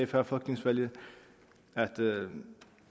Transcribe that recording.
før folketingsvalget at